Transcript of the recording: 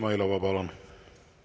Züleyxa Izmailova, palun!